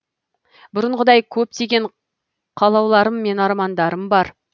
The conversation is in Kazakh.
бұрынғыдай көптеген қалауларым мен армандарым бар